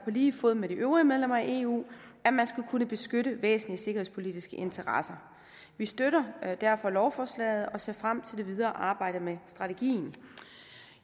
lige fod med de øvrige medlemmer af eu at man skal kunne beskytte væsentlige sikkerhedspolitiske interesser vi støtter derfor lovforslaget og ser frem til det videre arbejde med strategien